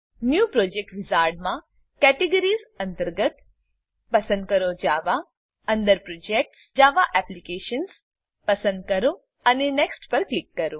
new project વિઝાર્ડમાં categories અંતર્ગત પસંદ કરો જાવા અંદર પ્રોજેક્ટ્સ જાવા એપ્લિકેશન્સ પસંદ કરો અને નેક્સ્ટ ક્લિક કરો